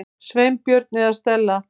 Sveinbjörn eða Stella.